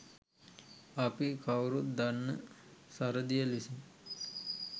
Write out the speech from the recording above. අපි කවුරුත් දන්න සරදියෙල් විසින්